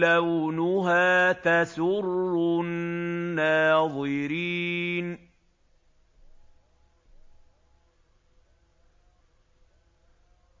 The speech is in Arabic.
لَّوْنُهَا تَسُرُّ النَّاظِرِينَ